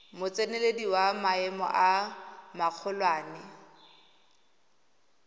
motseneledi wa maemo a magolwane